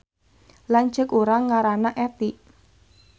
Lanceuk urang ngaranna Etty